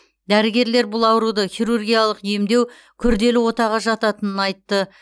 дәрігерлер бұл ауруды хирургиялық емдеу күрделі отаға жататынын айтты